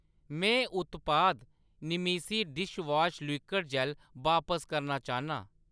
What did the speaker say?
में उत्पाद निमेसी डिशवॉश लिक्विड जैल्ल बापस करना चाह्‌न्नां।